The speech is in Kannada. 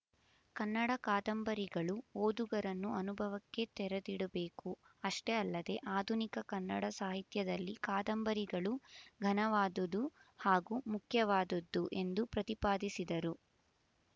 ಕನ್ನಡ ಕಾದಂಬರಿಗಳು ಓದುಗರನ್ನು ಅನುಭವಕ್ಕೆ ತೆರೆದಿಡಬೇಕುಅಷ್ಟೇ ಅಲ್ಲದೆಆಧುನಿಕ ಕನ್ನಡ ಸಾಹಿತ್ಯದಲ್ಲಿ ಕಾದಂಬರಿಗಳು ಘನವಾದುದು ಹಾಗೂ ಮುಖ್ಯವಾದದ್ದು ಎಂದು ಪ್ರತಿಪಾದಿಸಿದರು